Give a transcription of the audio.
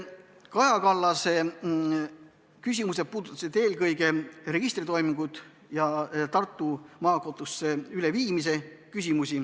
Kaja Kallase küsimused puudutasid eelkõige registritoiminguid ja nende Tartu Maakohtusse üleviimist.